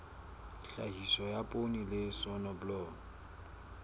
tlhahiso ya poone le soneblomo